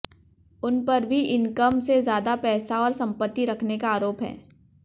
उन पर भी इनकम से ज्यादा पैसा और संपत्ति रखने का आरोप है